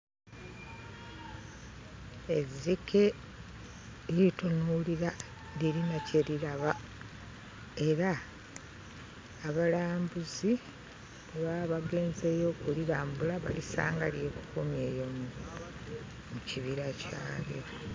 Ezzike litunuulira lirina kye liraba. Era abalambuzi bwe baba bagenzeeyo okulirambula balisanga lyekukumye eyo mu kibira kyalyo.